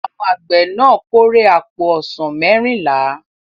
Àwọn àgbẹ̀ náà kórè àpò ọsàn mẹ́rìnlá.